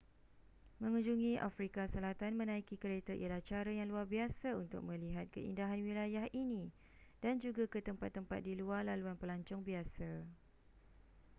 mengunjungi afrika selatan menaiki kereta ialah cara yang luar biasa untuk melihat keindahan wilayah ini dan juga ke tempat-tempat di luar laluan pelancong biasa